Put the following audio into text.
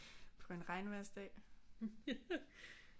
På en regnvejrsdag